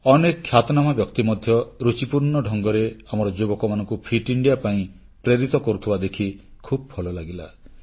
ଅନେକ ଖ୍ୟାତନାମା ବ୍ୟକ୍ତି ମଧ୍ୟ ରୁଚିପୂର୍ଣ୍ଣ ଢଙ୍ଗରେ ଆମର ଯୁବକମାନଙ୍କୁ ଫିଟ୍ ଇଣ୍ଡିଆ ପାଇଁ ପ୍ରେରିତ କରୁଥିବା ଦେଖି ଖୁବ୍ ଭଲ ଲାଗିଲା